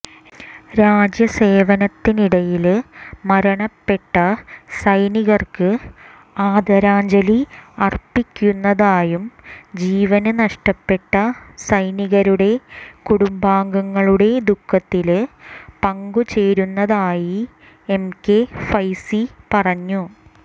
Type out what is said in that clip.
രാജ്യസേവനത്തിനിടയില് മരണപ്പെട്ട സൈനികര്ക്ക് ആദരാഞ്ജലി അര്പ്പിക്കുന്നതായും ജീവന് നഷ്ടപ്പെട്ട സൈനികരുടെ കുടുംബാംഗങ്ങളുടെ ദുഃഖത്തില് പങ്കുചേരുന്നതായി എം കെ ഫൈസി പറഞ്ഞു